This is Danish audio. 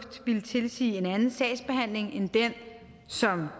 ville tilsige en anden sagsbehandling end den som